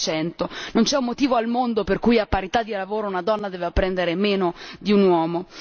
16 Non c'è motivo al mondo per cui, a parità di lavoro, una donna deva prendere meno di un uomo.